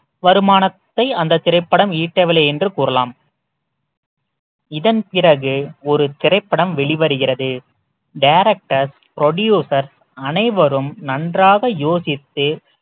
வருமானத்தை அந்த திரைப்படம் ஈட்டவில்லை என்று கூறலாம் இதன் பிறகு ஒரு திரைப்படம் வெளிவருகிறது directors producers அனைவரும் நன்றாக யோசித்து